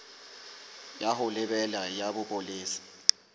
ya ho lebela ya bopolesa